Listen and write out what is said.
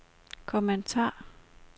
kommentar